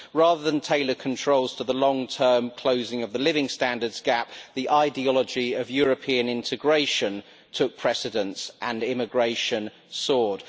Rather than tailor controls to the long term closing of the living standards gap, the ideology of European integration took precedence and immigration soared.